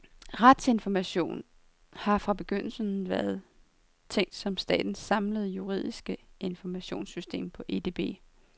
Retsinformation har fra begyndelsen været tænkt som statens samlede juridiske informationssystem på edb.